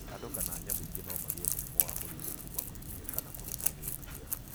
Andũ kana nyamũ ingĩ no magie mũrimũ wa mũrimũ kuma kwa mbĩa ka kũrũmo nĩ thuya.